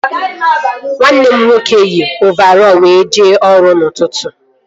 Nwanne m nwoke yi ovarọl were jee ọrụ n'ụtụtụ